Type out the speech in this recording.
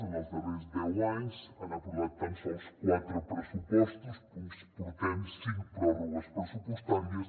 en els darrers deu anys han aprovat tan sols quatre pressupostos portem cinc pròrrogues pressupostàries